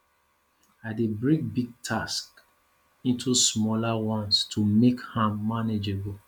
i dey break big tasks into smaller ones to make am manageable